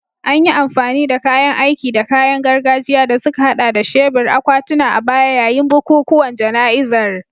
An yi amfani da kayan aiki da kayan gargajiya, da suka haɗa da shebur, akwatuna, a baya yayin bukukuwan jana'izar